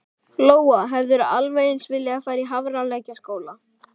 Lóa: Hefðirðu alveg eins viljað fara í Hafralækjarskóla?